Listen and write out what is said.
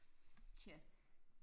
Tja